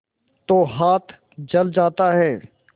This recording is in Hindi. तो हाथ जल जाता है